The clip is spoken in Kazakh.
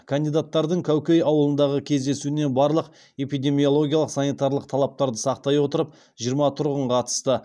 кандидаттардың кәукей ауылындағы кездесуіне барлық эпидемиологиялық санитарлық талаптарды сақтай отырып жиырма тұрғын қатысты